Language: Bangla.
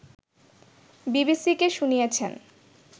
বিবিসিকে শুনিয়েছেন